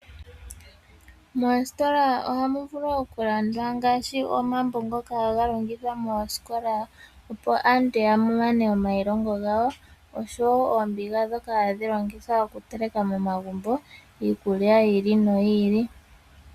Moositola ohamu vulu okulandwa ngaashi omambo ngoka ahaga longithwa moosikola, opo aantu ya mane omailongo gawo oshowo oombiga ndhoka hadhi longithwa okuteleka momagumbo iikulya yi ili noyi ili.